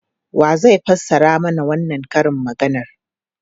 Wa zai fassara mana wannan karin maganar?